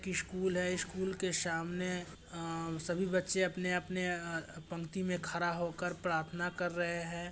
क-- स्कूल हैं स्कुल के सामने आ-- सभी बच्चे अपने - अपने आ पंक्ति में खड़ा होकर प्रार्थना कर रहे हैं।